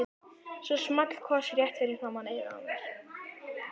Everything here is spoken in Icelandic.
Svo small koss rétt fyrir framan eyrað á mér.